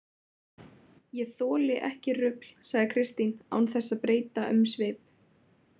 Ég þoli ekki rugl, sagði Kristín án þess að breyta um svip.